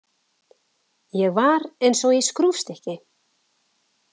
Ég var eins og í skrúfstykki.